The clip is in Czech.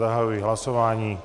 Zahajuji hlasování.